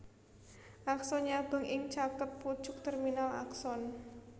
Akson nyabang ing caket pucuk terminal akson